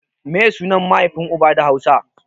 Meye sunan mahaifin uba da hausa?